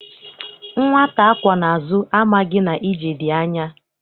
Nwata akwọ n'azụ amaghị na ije dị anya.